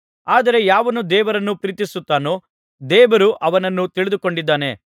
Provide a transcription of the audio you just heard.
ಆದರೆ ಯಾವನು ದೇವರನ್ನು ಪ್ರೀತಿಸುತ್ತಾನೋ ದೇವರು ಅವನನ್ನು ತಿಳಿದುಕೊಂಡಿದ್ದಾನೆ